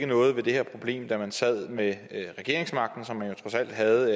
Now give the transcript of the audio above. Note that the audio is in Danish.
noget ved det her problem da man sad med regeringsmagten som man jo trods alt havde